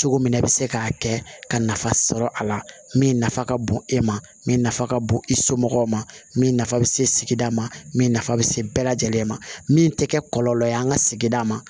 Cogo min na i bɛ se k'a kɛ ka nafa sɔrɔ a la min nafa ka bon e ma min nafa ka bon i somɔgɔw ma min nafa bɛ se sigida ma min nafa bɛ se bɛɛ lajɛlen ma min tɛ kɛ kɔlɔlɔ ye an ka sigida ma